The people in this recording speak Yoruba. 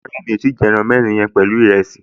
Rárá, mi ò tíì jẹ ẹran mẹ́rin yẹn pẹ̀lú ìrẹsì